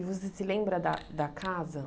E você se lembra da da casa?